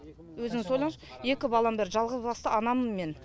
өзіңіз ойлаңызшы екі балам бар жалғызбасты анамын мен